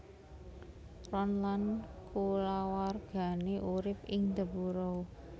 Ron lan kulawargané urip ing The Burrow